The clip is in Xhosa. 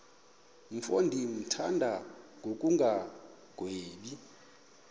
mfo ndimthanda ngokungagwebi